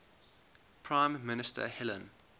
prime minister helen